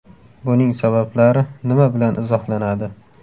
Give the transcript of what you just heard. Buning sabablari nima bilan izohlanadi?